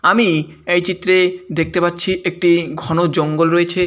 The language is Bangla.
আমি এই চিত্রে দেখতে পাচ্ছি একটি ঘন জঙ্গল রয়েছে।